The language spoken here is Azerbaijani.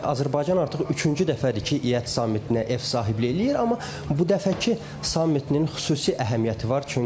Azərbaycan artıq üçüncü dəfədir ki, İT sammitinə ev sahibliyi eləyir, amma bu dəfəki sammitinin xüsusi əhəmiyyəti var.